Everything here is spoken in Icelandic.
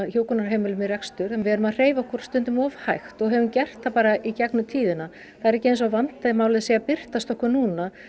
hjúkrunarheimilum í rekstur við erum að hreyfa okkur stundum of hægt og höfum gert það bara í gegnum tíðina það er ekki eins og vandamálið sé að birtast okkur núna